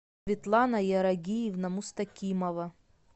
светлана ярагиевна мустакимова